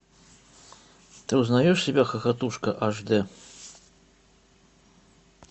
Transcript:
ты узнаешь себя хохотушка аш дэ